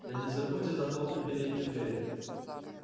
да не забудьте захлопнуть переднюю дверь